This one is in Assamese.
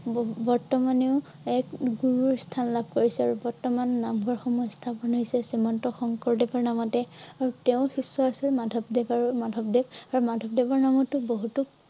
বহু~বৰ্তমানে ও এক গুৰু স্থান লাভ কৰিছে আৰু বৰ্তমান নামঘৰ সমূহ স্থাপন হৈছে । শ্ৰীমন্ত শংকৰদেৱৰ নামতে আৰু তেওঁৰ শিষ্য আছিল মাধৱদেৱ। আৰু মাধৱদেৱ । আৰু মাধৱদেৱৰ নামতো বহুতো।